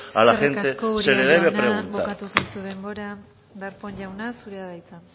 a la gente se le debe preguntar eskerrik asko uria jauna bukatu zaizu denbora darpón jauna zurea da hitza